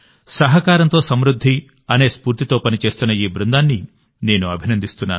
సహకారంతో సమృద్ధి అనే స్ఫూర్తితో పని చేస్తున్న ఈ బృందాన్ని నేను అభినందిస్తున్నాను